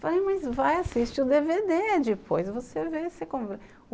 Falei, mas vai assistir o dê vê dê depois, você vê, você